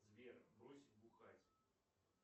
сбер брось бухать